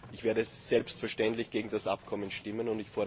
Ich werde selbstverständlich gegen das Abkommen stimmen.